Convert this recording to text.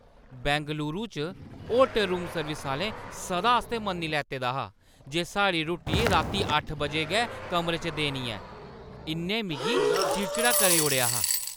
बंगलूरू च hotel room service आह्‌ले सदा आस्तै मन्नी लैते दा हा जे साढ़ी रुट्टी रातीं अट्ठ बजे गै कमरे च देनी ऐ। इ'न्नै मिगी चिड़चिड़ा करी ओड़ेआ हा ।